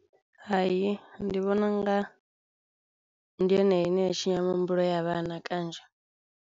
Hai, ndi vhona unga ndi yone ine ya tshinya mihumbulo ya vhana kanzhi.